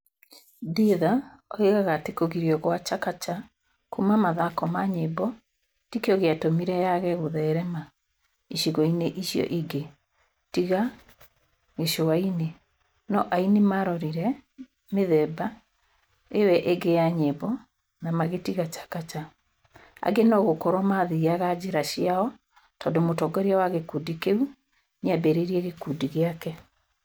Dhidha oigaga atĩ kũgirio kwa Chakacha kuuma mathako ma nyĩmbo tĩ kĩo gĩatũmire yaage gũtheerema ĩcigo-inĩ icio cingĩ tiga gĩcũainĩ, no, aini marorire mĩthemba ĩo ĩngĩ ya nyĩmbo na magĩtiga Chakacha, angĩ no gũkorũo mathiaga njĩra ciao tondũ mũtongoria wa gĩkundi kĩu nĩ ambĩrĩrie gĩkundi gĩake.